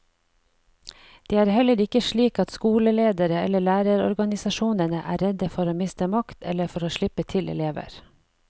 Det er heller ikke slik at skoleledere eller lærerorganisasjonene er redde for å miste makt eller for å slippe til elever.